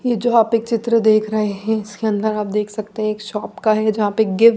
ये जो आप एक चित्र देख रहे है इसके अंदर आप देख सकते है एक शॉप का है जहां पे --